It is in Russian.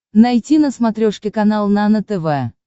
найти на смотрешке канал нано тв